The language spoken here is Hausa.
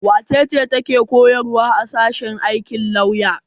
Wace ce take koyarwa a sashen aikin lauya?